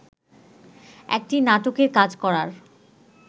একটি নাটকের কাজ করার